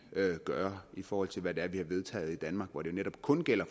gøre i forhold til hvad det er vi har vedtaget i danmark hvor det netop kun gælder